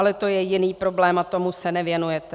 Ale to je jiný problém a tomu se nevěnujete.